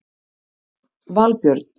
Valbjörn